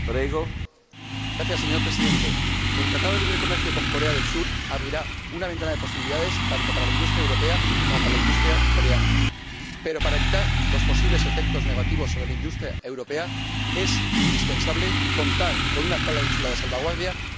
Señor Presidente, el Acuerdo de Libre Comercio con Corea del Sur abrirá una ventana de posibilidades tanto para la industria europea como para la industria coreana, pero para evitar los posibles efectos negativos sobre la industria europea, es indispensable contar con una cláusula de salvaguardia efecti0va.